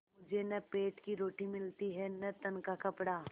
मुझे न पेट की रोटी मिलती है न तन का कपड़ा